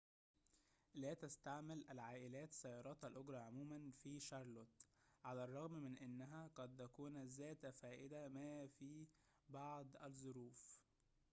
لا تستعمل العائلات سيارات الأجرة عموماً في شارلوت على الرغم من أنها قد تكون ذات فائدة ما في بعض الظروف